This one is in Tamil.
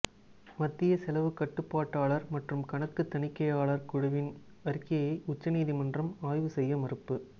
மத்திய செலவு கட்டுப்பாட்டாளர் மற்றும் கணக்கு தணிக்கையாளர் குழுவின் அறிக்கையை உச்ச நீதிமன்றம் ஆய்வு செய்ய மறுப்பு